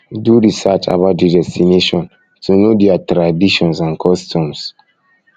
do research about di destination to um know their um traditions and um customs and um customs